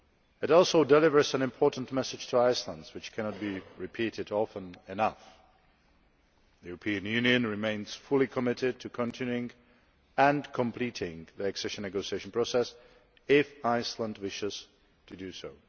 It also delivers an important message to Iceland, which cannot be repeated often enough the European Union remains fully committed to continuing and completing the accession negotiation process if Iceland wishes to do so.